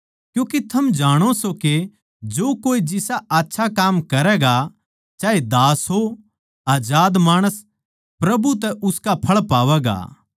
क्यूँके थम जाणो सों के जो कोए जिसा आच्छा काम करैगा चाहे दास हो चाहे आजाद माणस प्रभु तै उसका फळ पावैगा